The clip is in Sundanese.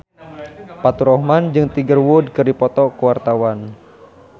Faturrahman jeung Tiger Wood keur dipoto ku wartawan